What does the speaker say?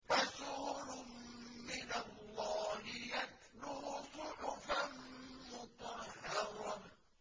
رَسُولٌ مِّنَ اللَّهِ يَتْلُو صُحُفًا مُّطَهَّرَةً